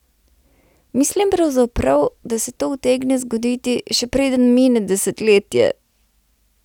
Mislim pravzaprav, da se to utegne zgoditi, še preden mine desetletje ...